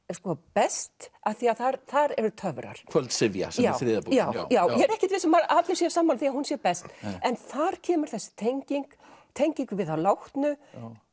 best af því að þar eru töfrar kvöldsifja sem er þriðja bókin já já ég er ekkert viss um að allir séu sammála því að hún sé best en þar kemur þessi tenging tenging við þá látnu